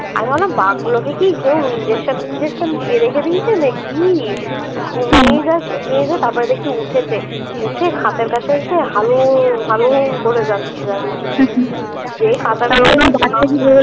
আমি ভাবলাম বাঘগুলোকে কি কেউ injection টিনজেকশন দিয়ে রেখে দিয়েছে না কি ঘুমিয়ে তারপরে দেখি উঠেছে উঠে খাঁচার কাছে এসে হালুম হালুম করে যাচ্ছে জানিস না যেই